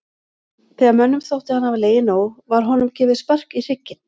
Þegar mönnum þótti hann hafa legið nóg var honum gefið spark í hrygginn.